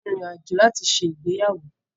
A ó rin ìrìn àjò láti ṣe ìgbéyàwó